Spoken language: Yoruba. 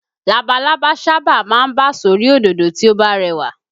Labalábá sábà máa ń bà sórí òdòdó tí ó bá rẹwà